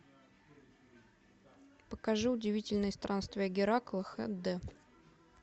покажи удивительные странствия геракла хд